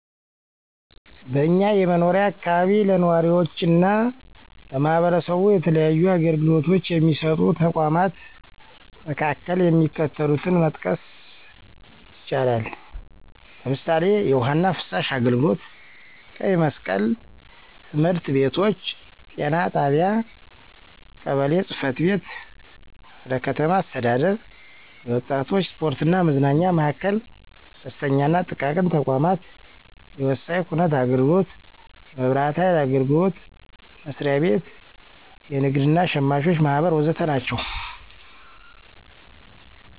በእኛ የመኖሪያ አካባቢ ለነዋሪዎችና ለማህበረሰቡ የተለያዩ አገልግሎቶች የሚሰጡ ተቋማት መካከል የሚከተሉትን መጥቀስ ይቻላል፦ ለምሳሌ፣ የውሀና ፍሳሽ አገልግሎት፣ ቀይ መስቀል፣ ትምህርት ቤቶች፣ ጤና ጣቢያ፣ ቀበሌ ጽፈት ቤት፣ ክፍለ ከተማ አስተዳደር፣ የወጣቶች ስፖርትና መዝናኛ ማዕከል፣ አነስተኛና ጥቃቅን ተቋማት፣ የወሳኝ ኩነት አገልግሎት፣ የመብራት ሀይል አገልግሎት መስሪያ ቤት፣ የንግድ እና ሸማቾች ማህበር ወዘተ ናቸው።